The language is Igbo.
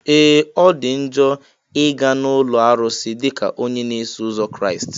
Ee! Ọ dị njọ ị ga na ụlọ arụsị dịka onye na-eso ụzọ Kraịst.